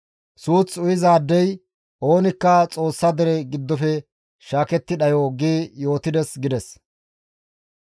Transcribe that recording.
Suuth uyizaadey oonikka Xoossa dere giddofe shaaketti dhayo› gi yootides» gides.